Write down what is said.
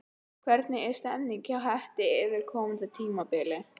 Hvernig er stemningin hjá Hetti fyrir komandi tímabil?